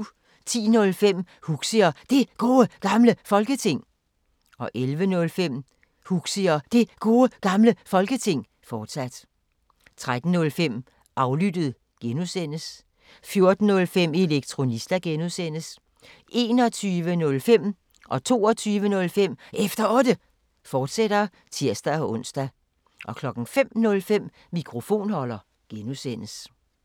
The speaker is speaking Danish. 10:05: Huxi og Det Gode Gamle Folketing 11:05: Huxi og Det Gode Gamle Folketing, fortsat 13:05: Aflyttet G) 14:05: Elektronista (G) 21:05: Efter Otte, fortsat (tir-ons) 22:05: Efter Otte, fortsat (tir-ons) 05:05: Mikrofonholder (G)